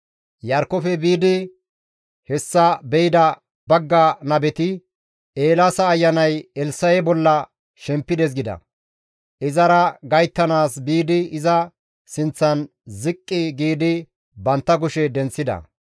Iyarkkofe biidi hessa be7ida bagga nabeti, «Eelaasa ayanay Elssa7e bolla shempides» gida; izara gayttanaas biidi iza sinththan ziqqi giidi bantta kushe denththida.